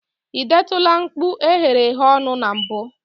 ị detụla mkpụ eghereghe ọnụ na mbụ?